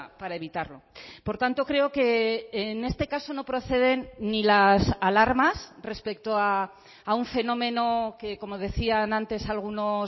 para evitarlo por tanto creo que en este caso no proceden ni las alarmas respecto a un fenómeno que como decían antes algunos